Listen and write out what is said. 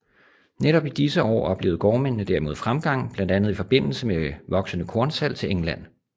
Netop i disse år oplevede gårdmændene derimod fremgang blandt andet i forbindelse med voksende kornsalg til England